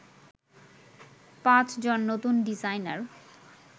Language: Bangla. ৫ জন নতুন ডিজাইনার